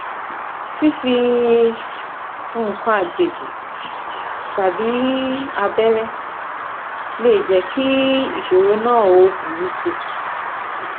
Fífi nǹkan àjèjì tàbí abẹ́rẹ́ lè jẹ́ kí ìsòro náà ó burú si